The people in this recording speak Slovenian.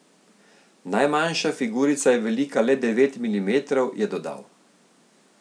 Najmanjša figurica je velika le devet milimetrov, je dodal.